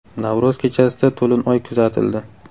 Navro‘z kechasida to‘lin oy kuzatildi .